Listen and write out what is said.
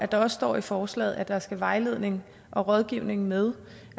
der står i forslaget at der skal vejledning og rådgivning med